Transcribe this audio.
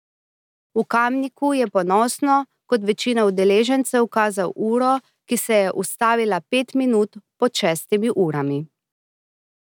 V Kamniku je ponosno, kot večina udeležencev, kazal uro, ki se je ustavila pet minut pod šestimi urami.